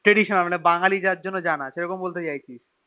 Traditional মানে বাঙালি যার জন্যে জানা মানে সেরম বলতে চাইছিস